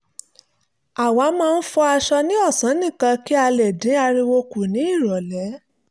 a máa ń fọ aṣọ ní ọ̀sán nìkan kí a lè dín ariwo kù ní ìrọ̀lẹ́